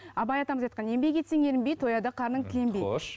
абай атамыз айтқан еңбек етсең ерінбей тояды қарның тіленбей хош